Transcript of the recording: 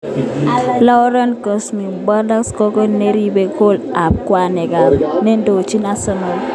Laurent Koscielny: Bordeaux kokoal neripe gol ab kwenet ak nendochin Arsenal.